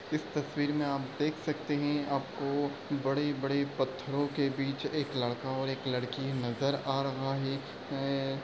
इस तस्वीर में आप देख सकते हैं आपको बड़े-बड़े पत्थरों के बीच एक लड़का और एक लड़की नजर आ रहा है ऐं-ऐं-- ।